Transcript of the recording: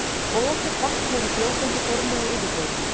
Og ekkert vatn er í fljótandi formi á yfirborðinu.